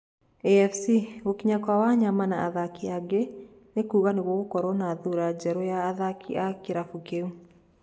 AFC: Gũkinya kwa Wanyama na athakĩ angĩ nĩ kuga nĩ gũkoro na thura njerũ ya athakĩ a kĩrabũ kĩu.